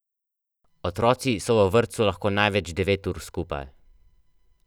Otroci so v vrtcu lahko največ devet ur skupaj.